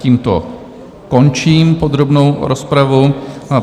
Tímto končím podrobnou rozpravu.